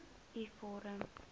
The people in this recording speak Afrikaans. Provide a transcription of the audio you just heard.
u vorm